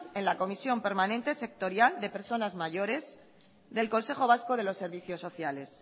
en la comisión permanente sectorial de personas mayores del consejo vasco de los servicios sociales